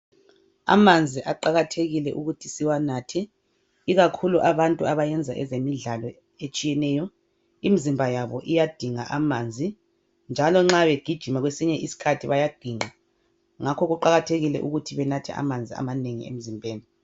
Amanzi aqakathekile ukuthi siwanathe ikakhulu abantu abayenza ezemidlalo etshiyeneyo imzimba yabo iyadinga amanzi njalo nxa begijima kwesinye isikhathi bayaginqa ngakho kuqakathekile ukuthi banathe amanzi amanengi emzimbeni.